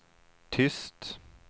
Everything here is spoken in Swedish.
tyst